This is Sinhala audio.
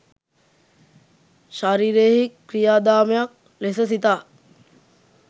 ශරීරයෙහි ක්‍රියාදාමයක් ලෙස සිතා